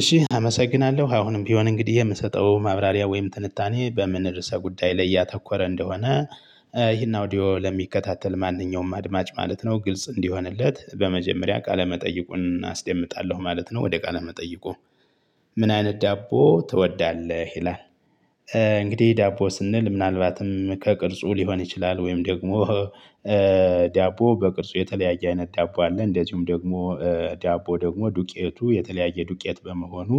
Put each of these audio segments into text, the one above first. እሺ አመሰግናለሁ አሁንም ቢሆን እንግዲህ የምሰጠው ማብራሪያ ወይም ትንታኔ በምን ርዕሰ ጉዳይ ላይ ያተኮረ እንደሆነ። ይሄን አውዲዮ ለሚከታተል ማንኛውም አድማጭ ማለት ነው ግልጽ እንዲሆንለት በመጀመሪያ ቃለመጠይቁን አስደምጣለሁ ማለት ነው። ወደ ቃለ መጠየቁ? ምን አይነት ዳቦ ትወዳለህ ይላል? እንግዲህ ዳቦ ስንል ምናልባትም ከቅርጹ ሊሆን ይችላል። ወይም ደግሞ። ዳቦ በቅርጹ የተለያየ አይነት ዳቦ አለ። እንደዚሁም ደግሞ ዳቦ ደግሞ ዱቄቱ የተለያየ ዱቄት በመሆኑ።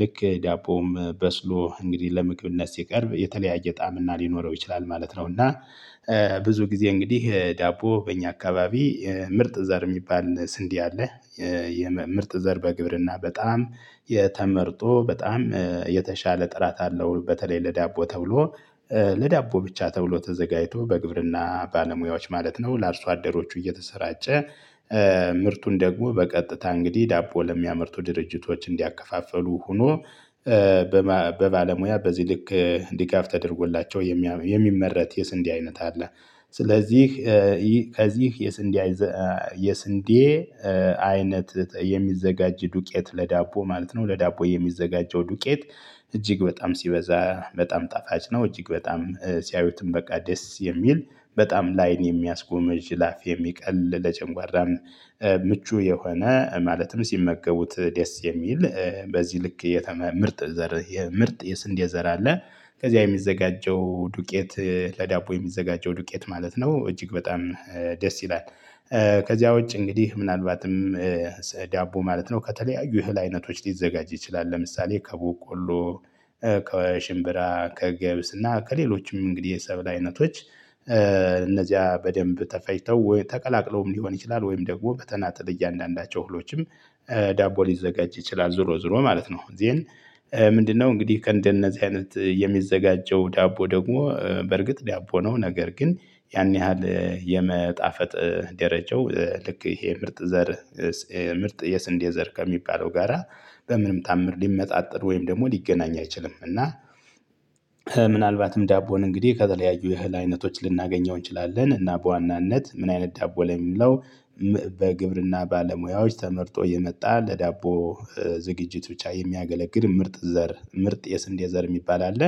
ልክ ዳቦም በስሎ እንግዲህ ለምግብነት ሲቀርብ የተለያየ ጣዕም እና ሊኖረው ይችላል ማለት ነው። እና ብዙ ጊዜ እንግዲህ ዳቦ በእኛ አካባቢ ምርጥ ዘር የሚባል ስንዴ አለ። የምርጥ ዘር በግብርና በጣም የተመርጦ በጣም የተሻለ ጥራት አለው። በተለይ ለዳቦ ተብሎ ለዳቦ ብቻ ተብሎ ተዘጋጅቶ በግብርና ባለሙያዎች ማለት ነው። ለአርሶ አደሮቹ እየተሰራጨ። ምርቱን ደግሞ በቀጥታ እንግዲህ ዳቦ ለሚያመርቱ ድርጅቶች እንዲያከፋፍሉ ሆኖ። በባለሙያ በዚህ ልክ ድጋፍ ተደርጎላቸው የሚመረት የስንዴ አይነት አለ። ስለዚህ ይህ ከዚህ የስንዴ የስንዴ አይነት የሚዘጋጅ ዱቄት ለዳቦ ማለት ነው። ለዳቦ የሚዘጋጀው ዱቄት እጅግ በጣም ሲበዛ በጣም ጣፋጭ ነው። እጅግ በጣም ሲያዩትም በቃ ደስ የሚል በጣም ላይን የሚያስጎመጅ ለአፍ የሚቀል ለጨጓራም ምቹ የሆነ ማለትም ሲመገቡት ደስ የሚል በዚህ ልክ የተመ ምርጥ ዘር የምርጥ የስንዴ ዘር አለ። ከዚያ የሚዘጋጀው ዱቄት ለዳቦ የሚዘጋጀው ዱቄት ማለት ነው። እጅግ በጣም ደስ ይላል። ከዚያ ውጪ እንግዲህ ምናልባትም ዳቦ ማለት ነው ከተለያዩ እህል አይነቶች ሊዘጋጅ ይችላል። ለምሳሌ ከበቆሎ ከሽምብራ ከገብስና ከሌሎችም እንግዲህ የሰብል አይነቶች። እነዚያ በደንብ ተፈጭተው ወይም ተቀላቅለውም ሊሆን ይችላል። ወይም ደግሞ በተናጥል እያንዳንዳቸው እህሎችም ዳቦ ሊዘጋጅ ይችላል። ዞሮ ዞሮ ማለት ነው። ይሄን ምንድነው? እንግዲህ ከእንደነዚህ አይነት የሚዘጋጀው ዳቦ ደግሞ በርግጥ ዳቦ ነው። ነገር ግን ያን ያህል የመጣፈጥ ደረጃው ልክ ይሄ ምርጥ ዘር ምርጥ የስንዴ ዘር ከሚባለው ጋራ በምንም ታምር ሊመጣጠን ወይም ደግሞ ሊገናኝ አይችልም። እና ምናልባትም ዳቦን እንግዲህ ከተለያዩ የእህል አይነቶች ልናገኘው እንችላለን እና በዋናነት ምን አይነት ዳቦ ላይ የሚለው። በግብርና ባለሙያዎች ተመርጦ የመጣ ለዳቦ ዝግጅት ብቻ የሚያገለግል ምርጥ ዘር ምርጥ የስንዴ ዘር የሚባል አለ።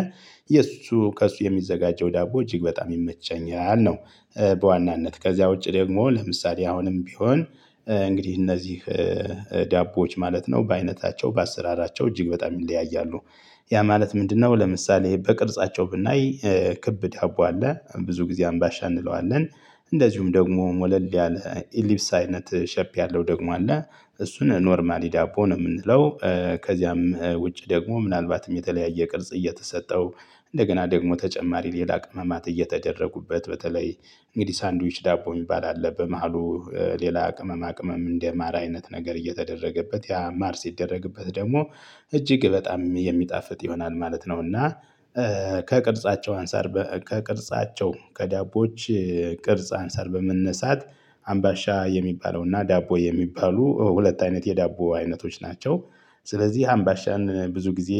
የእሱ ከእሱ የሚዘጋጀው ዳቦ እጅግ በጣም ይመቸኛል ነው። በዋናነት ከዚያ ውጪ ደግሞ ለምሳሌ አሁንም ቢሆን እንግዲህ እነዚህ ዳቦዎች ማለት ነው። በአይነታቸው በአሰራራቸው እጅግ በጣም ይለያያሉ። ያ ማለት ምንድነው? ለምሳሌ በቅርጻቸው ብናይ ክብ ዳቦ አለ ብዙ ጊዜ አምባሻ እንለዋለን። እንደዚሁም ደግሞ ሞለል ያለ ኢሊፕስ አይነት ሼፕ ያለው ደግሞ አለ። እሱን ኖርማሊ ዳቦ ነው የምንለው። ከዚያም ውጪ ደግሞ ምናልባትም የተለያየ ቅርጽ እየተሰጠው እንደገና ደግሞ ተጨማሪ ሌላ ቅመማት እየተደረጉበት በተለይ እንግዲህ ሳንድዊች ዳቦ የሚባል አለ። በመሃሉ ሌላ ቅመማ ቅመም እንደማር አይነት ነገር እየተደረገበት ያ ማር ሲደረግበት ደግሞ እጅግ በጣም የሚጣፍጥ ይሆናል ማለት ነው። እና ከቅርጻቸው አንፃር ከቅርጻቸው ከዳቦች ቅርጽ አንፃር በመነሳት አምባሻ የሚባለውና ዳቦ የሚባሉ ሁለት አይነት የዳቦ አይነቶች ናቸው። ስለዚህ አምባሻን ብዙ ጊዜ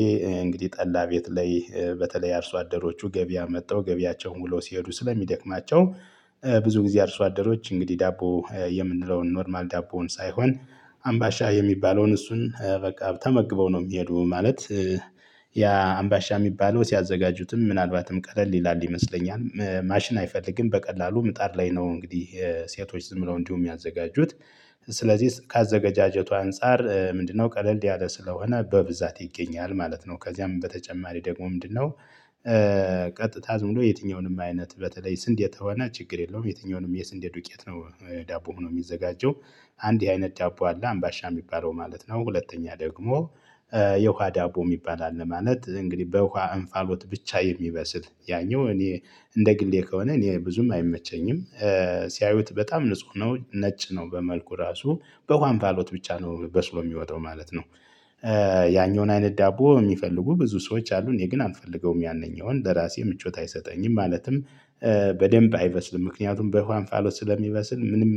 እንግዲህ ጠላ ቤት ላይ በተለይ አርሶ አደሮቹ ገቢያ መተው ገቢያቸውን ውለው ሲሄዱ ስለሚደክማቸው። ብዙ ጊዜ አርሶ አደሮች እንግዲህ ዳቦ የምንለውን ኖርማል ዳቦውን ሳይሆን አምባሻ የሚባለውን እሱን በቃ ተመግበው ነው የሚሄዱ ማለት። ያ አምባሻ የሚባለው ሲያዘጋጁትም ምናልባትም ቀለል ይላል ይመስለኛል ማሽን አይፈልግም በቀላሉ ምጣድ ላይ ነው እንግዲህ ሴቶች ዝም ብለው እንዲሁ የሚያዘጋጁት። ስለዚህ ካዘገጃጀቱ አንፃር ምንድነው? ቀለል ያለ ስለሆነ በብዛት ይገኛል ማለት ነው። ከዚያም በተጨማሪ ደግሞ ምንድነው? ቀጥታ ዝም ብሎ የትኛውንም አይነት በተለይ ስንዴ ተወነ ችግር የለውም የትኛውንም የስንዴ ዱቄት ነው። ዳቦ ሆኖ የሚዘጋጀው። አንድ የአይነት ዳቦ አለ አምባሻ የሚባለው ማለት ነው። ሁለተኛ ደግሞ የውሃ ዳቦ የሚባል አለ። ማለት እንግዲህ በውሃ እንፋሎት ብቻ የሚበስል ያኛው እኔ እንደ ግሌ ከሆነ እኔ ብዙም አይመቸኝም። ሲያዩት በጣም ንጹህ ነው ነጭ ነው በመልኩ ራሱ በውሃ እንፋሎት ብቻ ነው በስሎ የሚወጣው ማለት ነው። ያኛውን አይነት ዳቦ የሚፈልጉ ብዙ ሰዎች አሉ እኔ ግን አልፈልገውም ያነኛውን ለራሴ ምቾት አይሰጠኝም ማለትም። በደንብ አይበስልም ምክንያቱም በኋላ እንፋሎት ስለሚበስል ምንም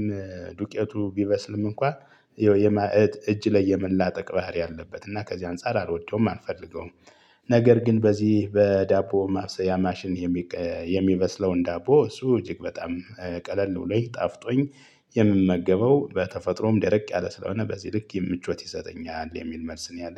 ዱቄቱ ቢበስልም እንኳን ይኸው የማዕት እጅ ላይ የመላጠቅ ባህሪ አለበት። እና ከዚህ አንፃር አልወደውም አልፈልገውም። ነገር ግን በዚህ በዳቦ ማብሰያ ማሽን። የሚበስለውን ዳቦ እሱ እጅግ በጣም ቀለል ብሎኝ ጣፍጦኝ። የምመገበው በተፈጥሮም ደረቅ ያለ ስለሆነ በዚህ ልክ የምቾት ይሰጠኛል የሚል መልስ ነው። ያለኝ